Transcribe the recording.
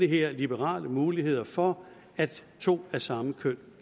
her liberale mulighed for at to af samme køn